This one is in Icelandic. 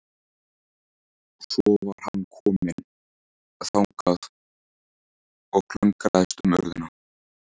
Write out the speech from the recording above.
Og svo var hann kominn þangað og klöngraðist um urðina.